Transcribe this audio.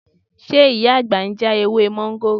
Ṣé Ìyá àgbà ń já ewé mọ́ńgòrò?